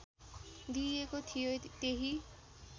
दिइएको थियो त्यही